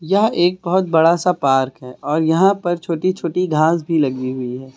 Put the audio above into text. यह एक बहुत बड़ा सा पार्क है और यहां पर छोटी छोटी घास भी लगी हुई है।